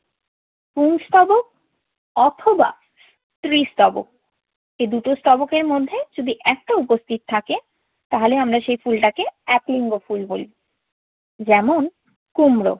পুংস্তবক অথবা স্ত্রীস্তবক। এই দুটো স্তবকের মধ্যে যদি একটা উপস্থিত থাকে তাহলে আমরা সেই ফুলটাকে এক লিঙ্গ ফুল বলি। যেমন, কুমড়ো।